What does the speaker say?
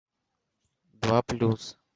два плюс